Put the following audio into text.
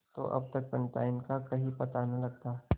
तो अब तक पंडिताइन का कहीं पता न लगता